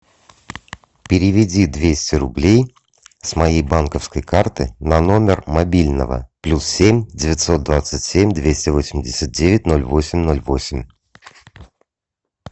переведи двести рублей с моей банковской карты на номер мобильного плюс семь девятьсот двадцать семь двести восемьдесят девять ноль восемь ноль восемь